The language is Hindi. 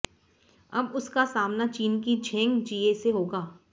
अब उसका सामना चीन की झेंग जिए से होगा